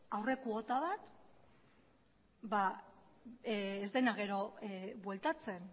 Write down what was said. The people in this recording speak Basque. aurre kuota bat ez dena gero bueltatzen